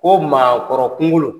O maakɔrɔ kunkolo